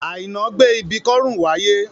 Àìná gbé ibi kọ́rùn wá ayé